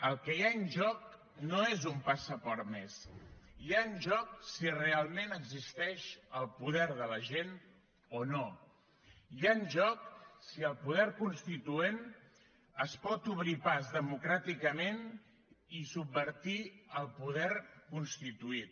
el que hi ha en joc no és un passaport més hi ha en joc si realment existeix el poder de la gent o no hi ha en joc si el poder constituent es pot obrir pas democràticament i subvertir el poder constituït